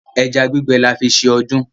Ẹja gbígbẹ là fí ṣe ọdún.